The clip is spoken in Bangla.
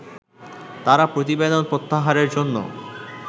তারা প্রতিবেদন প্রত্যাহারের জন্য